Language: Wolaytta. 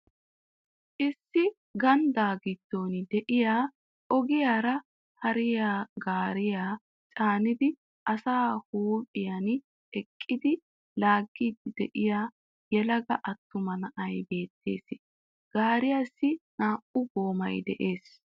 Issi ganddaa gidon de'iya ogiyaara hariya gaariya caanidi a huuphphiyan eqqidi laagiid diya yelagaa attumma na'ay beettees. Gaariyassi naa'u goomay de'ees.